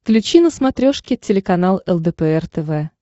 включи на смотрешке телеканал лдпр тв